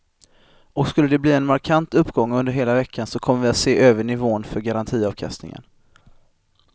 Och skulle de bli en markant uppgång under hela veckan så kommer vi att se över nivån för garantiavkastningen.